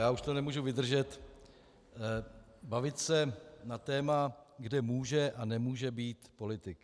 Já už to nemůžu vydržet - bavit se na téma, kde může a nemůže být politik.